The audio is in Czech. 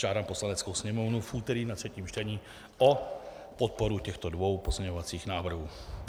Žádám Poslaneckou sněmovnu v úterý na třetím čtení o podporu těchto dvou pozměňovacích návrhů.